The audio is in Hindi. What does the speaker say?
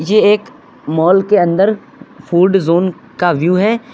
जे एक मॉल के अंदर फूड जोन का व्यू है।